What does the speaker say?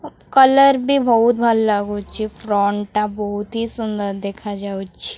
ଅ କଲର୍ ବି ଭୋଉତ୍ ଭଲ ଲାଗୁଛି ଫ୍ରଣ୍ଟ ଟା ବହୁତ୍ ହି ସୁନ୍ଦର ଦେଖାଯାଉଛି।